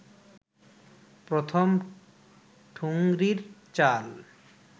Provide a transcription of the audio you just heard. প্রথম ঠুংরির চাল